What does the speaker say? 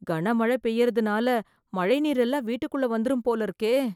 கன மழ பெய்யறதுனால மழை நீர் எல்லாம் வீட்டுக்குள்ள வந்துரும் போல இருக்கே